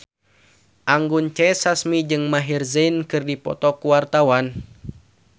Anggun C. Sasmi jeung Maher Zein keur dipoto ku wartawan